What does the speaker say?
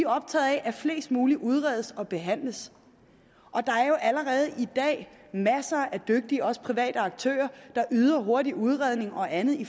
optaget af at flest mulige udredes og behandles og der er jo allerede i dag masser af dygtige også private aktører der yder hurtig udredning og andet i